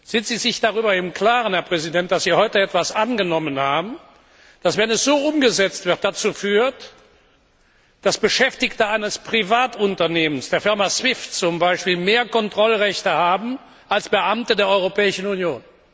Sind Sie sich darüber im Klaren, Herr Präsident, dass Sie heute etwas angenommen haben, das, wenn es so umgesetzt wird, dazu führt, dass Beschäftigte eines Privatunternehmens, der Firma Swift zum Beispiel, mehr Kontrollrechte haben als Beamte der Europäischen Union?